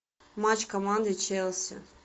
матч команды челси